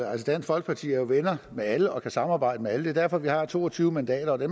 at dansk folkeparti jo er venner med alle og kan samarbejde med alle det er derfor vi har to og tyve mandater og det